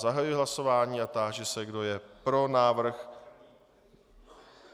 Zahajuji hlasování a táži se, kdo je pro návrh.